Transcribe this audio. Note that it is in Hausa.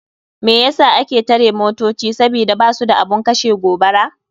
Me yasa ake tare motoci sabida basu da abun kashe gobara.